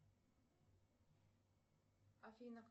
афина